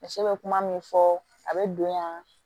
Muso bɛ kuma min fɔ a bɛ don yan